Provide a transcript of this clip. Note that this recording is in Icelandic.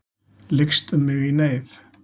Lykst um mig í neyð.